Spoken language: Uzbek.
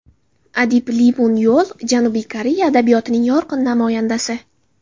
Adib Li Mun Yol Janubiy Koreya adabiyotining yorqin namoyandasi.